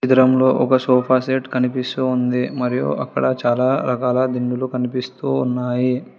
మందిరంలో ఒక sofa set కనిపిస్తూ ఉంది మరియు అక్కడ చాలా రకాల దిండులు కనిపిస్తూ ఉన్నాయి.